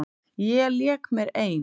Ég lék mér ein.